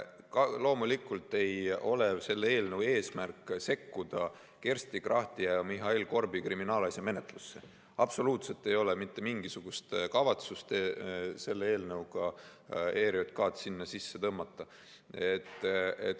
Loomulikult ei ole selle eelnõu eesmärk sekkuda Kersti Krachti ja Mihhail Korbi kriminaalasja menetlusse, absoluutselt ei ole mitte mingisugust kavatsust selle eelnõuga ERJK‑d sinna sisse tõmmata.